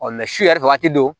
su yɛrɛ waati don